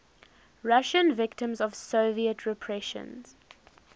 russian victims of soviet repressions